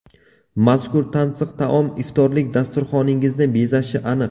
Mazkur tansiq taom iftorlik dasturxoningizni bezashi aniq.